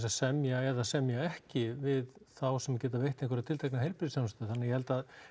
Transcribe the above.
semja eða semja ekki við þá sem geta veitt einhverja tiltekna heilbrigðisþjónustu þannig að ég held að